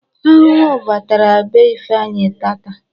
Ahụhụ batara be Ifeanyi taata.